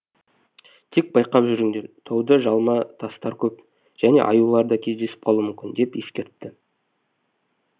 тек байқап жүріңдер тауда жалма тастар көп және аюлар да кездесіп қалуы мүмкін деп ескертті